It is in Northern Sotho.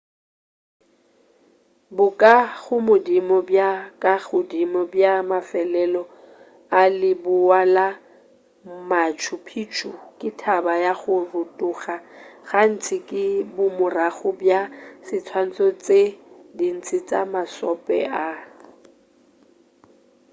bokagodimo bja ka godimo bja mafelelo a leboa la machu picchu ke thaba ya go rotoga gantši ke bomorago bja diswantšho tše dintši tša mašope a